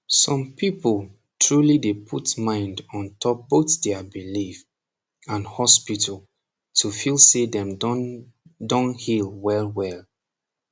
som people truli dey put mind ontop both their belief and hospital to feel say dem don don heal welwel